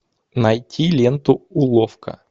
найти ленту уловка